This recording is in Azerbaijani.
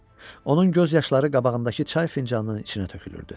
Onun göz yaşları qabağındakı çay fincanının içinə tökülürdü.